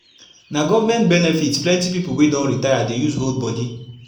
na govment benepit plenti pipu wey don retire dey use hold bodi